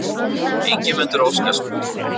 Ingimundur Óskarsson